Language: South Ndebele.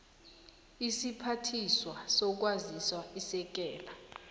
isiphathiswa sezokwazisa isekela